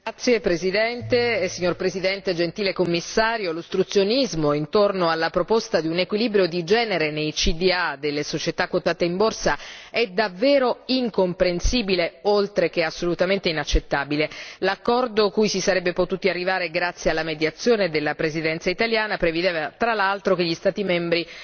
Signor Presidente, onorevoli colleghi, gentile Commissario, l'ostruzionismo intorno alla proposta di un equilibrio di genere nei CDA delle società quotate in borsa è davvero incomprensibile, oltre che assolutamente inaccettabile. L'accordo cui si sarebbe potuti arrivare grazie alla mediazione della Presidenza italiana prevedeva, tra l'altro, che gli Stati membri